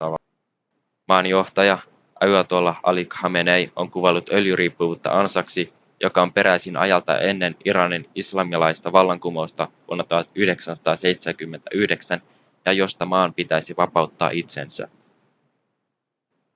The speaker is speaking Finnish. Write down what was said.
maan johtaja ayatollah ali khamenei on kuvaillut öljyriippuvuutta ansaksi joka on peräisin ajalta ennen iranin islamilaista vallankumousta vuonna 1979 ja josta maan pitäisi vapauttaa itsensä